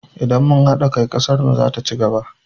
Idan mun haɗa kai, ƙasar mu zata ci gaba.